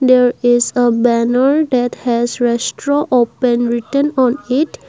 there is a banner that has restaurant open written on it.